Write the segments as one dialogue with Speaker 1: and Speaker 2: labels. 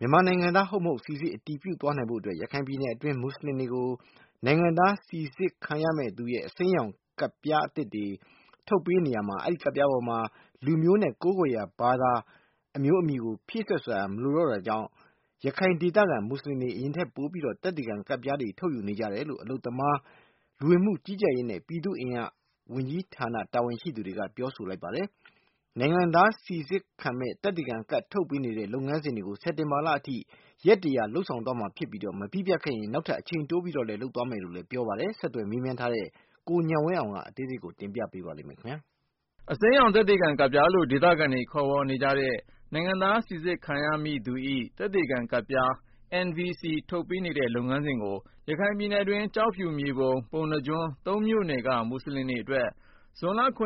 Speaker 1: မြန်မာနိုင်ငံသား ဟုတ် မဟုတ် စိစစ် အတည်ပြု သွားနိုင်ဖို့အတွက် ရခိုင်ပြည်နယ်တွင်းက မူဆလင်တွေကို နိုင်ငံသား စိစစ်ခံရမည့်သူ၏ အစိမ်းရောင် သက်သေခံကဒ်ပြားတွေ (National Verification Card - NVC) ထုတ်ပေးနေတာမှာ အဲဒီကဒ်ပြားပေါ် လူမျိုးနဲ့ ကိုးကွယ်ရာ ဘာသာ အမျိုးအမည်ကို ဖြည့်စွက်ဖော်ပြစရာ မလိုတာကြောင့် ရခိုင်ဒေသခံ မူဆလင်တွေ အရင်ကထက်ပိုပြီး သက်သေခံကဒ်ပြားတွေ ထုတ်ယူနေကြတယ်လို့ အလုပ်သမား၊ လူဝင်မှုကြီးကြပ်ရေးနဲ့ ပြည်သူ့အင်အားဝန်ကြီးဌာန တာဝန်ရှိသူက ပြောဆိုလိုက်ပါတယ်။ နိုင်ငံသားစိစစ်ခံမယ့် သက်သေခံကဒ် ထုတ်ပေးတဲ့ လုပ်ငန်းစဉ်တွေကို စက်တင်ဘာလအထိ ရက် လုပ်ဆောင်သွားမှာဖြစ်ပြီး၊ မပြီးပြတ်ခဲ့ရင် နောက်ထပ် အချိန်တိုးပြီး လုပ်ဆောင်သွားမယ်လို့လည်း ပြောပါတယ်။ ဆက်သွယ်းမြန်းထားတဲ့ ကိုဉာဏ်ဝင်းအောင်က တင်ပြထားပါတယ်။ အစိမ်း
Speaker 2: ရောင် သက်သေခံကဒ်ပြားလို့ ဒေသခံတွေ ခေါ်ဝေါ်နေကြတဲ့ နိုင်ငံသား စိစစ်ခံရမည့်သူ၏ သက်သေခံကဒ်ပြား ထုတ်ပေးတဲ့ လုပ်ငန်းစဉ်ကို ရခိုင်ပြည်နယ်တွင်း ကျောက်ဖြူ၊ မြေပုံ၊ ပုဏ္ဏားကျွန်း ၃ မြို့နယ်က မူဆလင်တွေအတွက် ဇွန်လ ရက်ကစ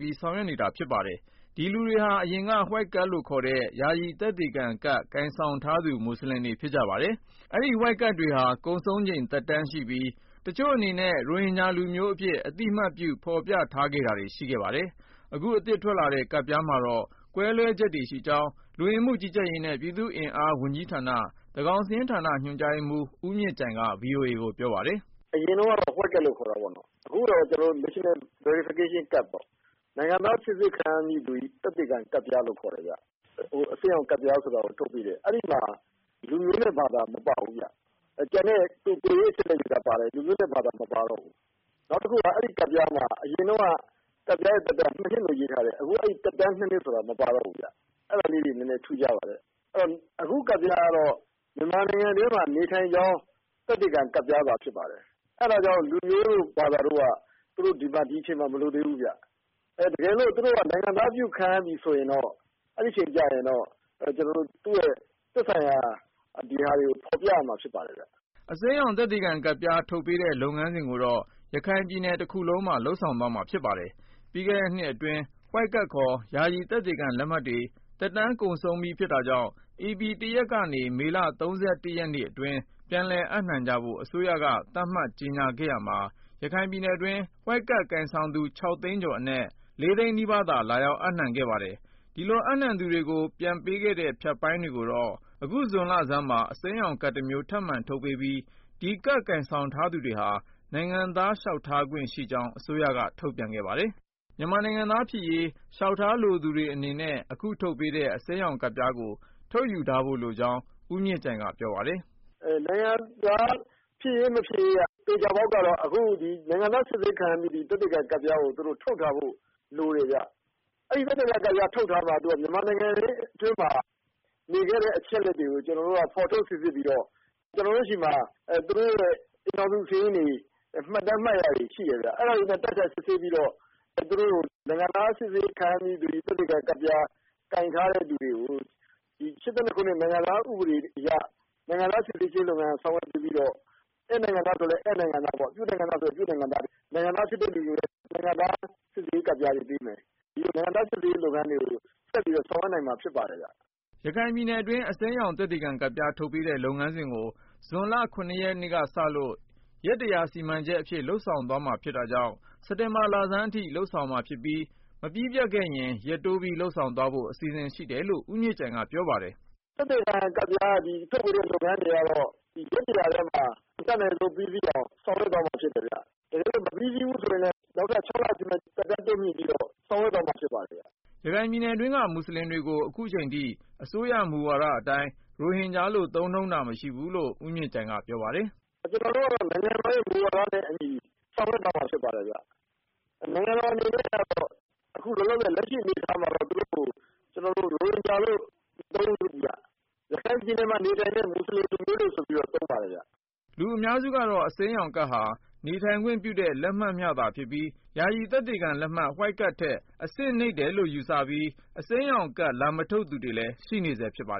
Speaker 2: ပြီး ဆောင်ရွက်နေတာ ဖြစ်ပါတယ်။ ဒီလူတွေဟာ အရင်က White card လို့ခေါ်တဲ့ ယာယီသက်သေခံကဒ် ကိုင်ဆောင်ထားသူ မူဆလင်တွေ ဖြစ်ကြပါတယ်။ အဲဒီ White card တွေဟာ ကုန်ဆုံးချိန် သက်တမ်းရှိပြီး တချို့အနေနဲ့ ရိုဟင်ဂျာလူမျိုးအဖြစ် အသိအမှတ်ပြု ဖော်ပြထားခဲ့တာတွေ ရှိခဲ့ပါတယ်။ အခု အသစ်ထွက်လာတဲ့ ကဒ်ပြားမှာတော့ ကွဲလွဲချက်တွေရှိကြောင်း လူဝင်မှုကြီးကြပ်ရေးနှင့် ပြည်သူ့အင်အားဝန်ကြီးဌာန သန်းခေါင်စာရင်းဌာန ညွှန်ကြားရေးမှူး ဦးမြင့်ကြိုင်က ဗွီအိုအေကို ပြောပါတယ်
Speaker 3: ။ “အရင်တုန်းကတော့ White Card လို့ခေါ်တာပေါ့နော်။ အခုကတော့ National Verification Card ပေါ့။ နိုင်ငံသားစိစစ်ခံရမယ့်သူ၏ သက်သေခံကဒ်ပြားလို့ ခေါ်တယ်ဗျ။ အစိမ်းရောင်ကဒ်ပြားဆိုတာကို ထုတ်ပေးတယ်။ အဲဒီမှာ လူမျိုးနဲ့ဘာသာ မပါဘူးဗျ။ ကျန်တဲ့ ကိုယ်ရေးအချက်အလက်တွေ ပါတယ်။ လူမျိုးနဲ့ ဘာသာ မပါတော့ဘူး။ နောက်တခုက အဲဒီကဒ်ပြားမှာ အရင်တုန်းက ကဒ်ပြားရဲ့ သက်တမ်းကို ၂ နှစ်လို့ ရေးထားတယ်။ အခု အဲဒီ သက်တမ်း ၂ နှစ်ဆိုတာ မပါတော့ဘူးလေ။ အဲဒါလေးတွေ နည်းနည်း ထူးခြားပါတယ်။ အဲတော့ အခု ကဒ်ပြားကတော့ မြန်မာနိုင်ငံထဲမှာ နေထိုင်ကြောင်း သက်သေခံကဒ်ပြားသာ ဖြစ်ပါတယ်။ အဲဒါကြောင့် လူမျိုးတို့ ဘာသာတို့က သူတို့ ဒီအချိန်မှာ မလိုသေးဘူးဗျ။ တကယ်လို့ သူတို့က နိုင်ငံသားပြုခံရပြီဆိုရင်တော့ အဲဒီအချိန်ကျရင်တော့ သူ့ရဲ့ သက်ဆိုင်ရာ ဒီဟာတွေကို ဖော်ပြရမှာ ဖြစ်ပါတယ်။
Speaker 2: ” အစိမ်းရောင် သက်သေခံကဒ်ပြား ထုတ်ပေးတဲ့လုပ်ငန်းစဉ်ကိုတော့ ရခိုင်ပြည်နယ်တခုလုံးမှာ လုပ်ဆောင်သွားမှာ ဖြစ်ပါတယ်။ ပြီးခဲ့တဲ့နှစ်အတွင်း White Card ခေါ် ယာယီသက်ခံလက်မှတ်တွေ သက်တမ်းကုန်ဆုံးပြီ ဖြစ်တာကြောင့် ဧပြီလ ၁ ရက်ကနေ မေလ ၃၁ ရက်နေ့အတွင်း ပြန်လည်အပ်နှံကြဖို့ အစိုးရက သတ်မှတ်ကြေညာခဲ့ရာမှာ ရခိုင်ပြည်နယ်တွင်း White Card ကိုင်ဆောင်သူ ၆ သိန်းကျော်အနက်က ၄ သိန်းနီးပါးလောက်သာ ပြန်အပ်နှံခဲ့ပါတယ်။ ဒီလို အပ်နှံသူတွေကို ပေးအပ်ခဲ့တဲ့ ဖြတ်ပိုင်းတွေကိုတော့ အခု ဇွန်လဆန်းမှာ အစိမ်းရောင်ကဒ်တမျိုး ထပ်မံ ထုတ်ပေးပြီး ဒီကဒ်ကိုင်ဆောင်ထားသူတွေဟာ နိုင်ငံသားလျှောက်ထားခွင့် ရရှိကြောင်း အစိုးရက ထုတ်ပြန်ခဲ့ပါတယ်။ မြန်မာနိုင်ငံသားဖြစ်ရေး လျှောက်ထားသူတွေအနေနဲ့ အခုထုတ်ပေးနေတဲ့ အစိမ်းရောင်ကဒ်ပြားကို ထုတ်ယူထားဖို့ လိုကြောင်း ဦးမြင့်ကြိုင်က ပြောပါတယ်
Speaker 3: ။ “နိုင်ငံသားဖြစ်ရေး၊ မဖြစ်ရေးက သေချာပေါက်ကတော့ အခု ဒီ သေချာပေါက်ကတော့ အခု နိုင်ငံသားစစ်ဆေးခံရမည့် သက်သေခံကဒ်ပြားကို သူတို့ထုတ်ထားဖို့ လိုတယ်ဗျ။ အဲဒီသက်သေခံကဒ်ပြား ထုတ်ထားမှ သူက မြန်မာနိုင်ငံအတွင်းမှာ နေခဲ့တဲ့ အချက်အလက်တွေကို ကျနော်တို့က ဖော်ထုတ်စိစစ်ပြီးတော့ ကျနော်တို့ဆီမှာ သူတို့ရဲ့ အိမ်ထောင်စုစာရင်းတွေ မှတ်တမ်းမှတ်ရာတွေ ရှိတယ်ဗျ။ အဲဒါတွေနဲ့ တိုက်ဆိုင်စစ်ဆေးပြီးတော့ သူတို့ နိုင်ငံသားစစ်ဆေးခံရမည့်သူ၏ သက်သေခံကဒ်ပြား ကိုင်ထားတဲ့သူတွေကို ၈၂ ခုနှစ် နိုင်ငံသားဥပဒေအရ နိုင်ငံသားစိစစ်ခြင်းလုပ်ငန်း ဆောင်ရွက်ပေးပြီးတော့ ဧည့်နိုင်ငံသားဆိုရင်လည်း ဧည့်နိုင်ငံသားပေါ့ နိုင်ငံသားဖြစ်ထိုက်သူဆိုရင်လည်း နိုင်ငံသားစိစစ်ရေး ကဒ်ပြားတွေ ပေးမယ်။ ဒီလို နိုင်ငံသားစိစစ်ရေးလုပ်ငန်းတွေကို ဆက်ပြီးတော့ ဆောင်ရွက်နိုင်မှာ ဖြစ်ပါ တယ်။
Speaker 2: ” ရခိုင်ပြည်နယ်အတွင်း အစိမ်းရောင် သက်သေခံကဒ်ပြား ထုတ်ပေးတဲ့ လုပ်ငန်းစဉ်ကို ဇွန်လ ရက်နေ့ကစလို့ ရက် စီမံချက်အဖြစ် လုပ်ဆောင်မှာဖြစ်တာကြောင့် စက်တင်ဘာလဆန်းအထိ လုပ်ဆောင်သွားမှာဖြစ်ပြီး၊ မပြီးပြတ်ခဲ့ရင် ရက်တိုးပြီး လုပ်ဆောင်သွားဖို့ အစီအစဉ် ရှိတယ်လို့ ဦးမြင့်ကြိုင်က ပြောပါတယ်
Speaker 3: ။ “သက်သေခံကဒ်ပြား ထုတ်ပေးတဲ့လုပ်ငန်းတွေကတော့ ရက် ၁၀၀ ထဲမှာ အတတ်နိုင်ဆုံး ပြီးစီးအောင် ဆောင်ရွက်သွားမှာဖြစ်တယ်ဗျ။ တကယ်လို့ မပြီးစီးဘူးဆိုရင်လည်း နောက်ထပ် ၆ လ သက်တမ်းတိုးမြှင့်ပြီးတော့ ဆောင်ရွက်သွားမှာ ဖြစ်ပါတယ်။
Speaker 2: ” ရခိုင်ပြည်နယ်တွင်းက မူဆလင်တွေကို အခုအချိန်အထိ အစိုးရမူဝါဒအတိုင်း ရိုဟင်ဂျာလို့ သုံးနှုန်းတာ မရှိဘူးလို့ ဦးမြင့်ကြိုင်က ပြောပါတယ်။
Speaker 3: “ကျနော်တို့ကတော့ နိုင်ငံတော်မူဝါဒနဲ့အညီ ဆောင်ရွက်သွားမှာ ဖြစ်ပါတယ်ခင်ဗျ။ နိုင်ငံတော်အနေနဲ့ကတော့ အခုလောလောဆယ် လက်ရှိ အနေအထားမှာတော့ သူတို့ကို ရိုဟင်ဂျာလို့ မသုံးဘူးဗျ။ ရခိုင်ပြည်နယ်မှာ နေထိုင်တဲ့ မူဆလင်လူမျိုးတွေ ဆိုပြီးတော့ သုံးပါတယ်ခင်ဗျ။
Speaker 2: ” လူအများစုကတော့ အစိမ်းရောင်ကဒ်ဟာ နေထိုင်ခွင့်ပြုတဲ့ လက်မှတ်မျှသာဖြစ်ပြီး ယာယီသက်သေခံလက်မှတ် White Card ထက် အဆင့် နိမ့်တယ်လို့ ယူဆပြီး အစိမ်းရောင်ကဒ် လာမထုတ်သူတွေလည်း ရှိနေဆဲဖြစ်ပါတယ်